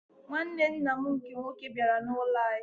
Nwanne nna m nke nwoke bịara n'ụlọ anyị.